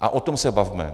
A o tom se bavme!